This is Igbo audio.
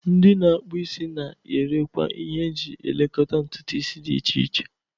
Ndi na-akpu isi na-erekwa ihe eji elekọta ntutu isi dị iche iche.